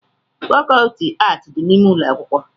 fàkọọtị ààtị dị n'ime ụlọ akwụkwọ